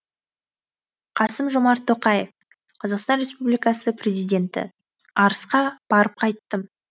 қасым жомарт тоқаев қазақстан республикасы президенті арысқа барып қайттым